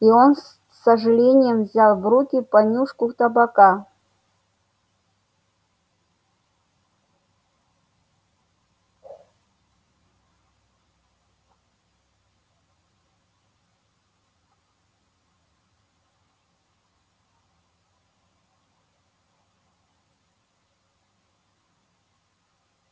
и он с сожалением взял в руки понюшку табака